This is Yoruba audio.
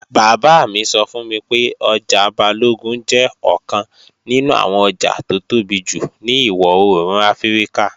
Bàbá mi sọ fún mi pé ọjà Balógun jẹ́ ọ̀kan nínú àwọn ọjà tó tóbi jù ní ìwọ-òòrùn Áfíríkà.